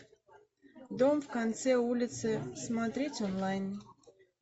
дом в конце улицы смотреть онлайн